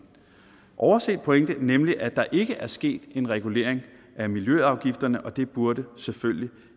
overset pointe nemlig at der ikke er sket en regulering af miljøafgifterne det burde selvfølgelig